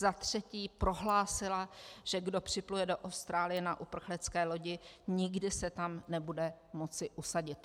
Za třetí prohlásila, že kdo připluje do Austrálie na uprchlické lodi, nikdy se tam nebude moci usadit.